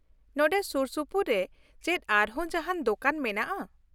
ᱱᱚᱸᱰᱮ ᱥᱩᱨᱥᱩᱯᱩᱨ ᱨᱮ ᱪᱮᱫ ᱟᱨᱦᱚᱸ ᱡᱟᱦᱟᱱ ᱫᱳᱠᱟᱱ ᱢᱮᱱᱟᱜᱼᱟ ?